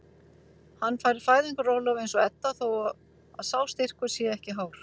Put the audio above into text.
Hann fær fæðingarorlof eins og Edda þó að sá styrkur sé ekki hár.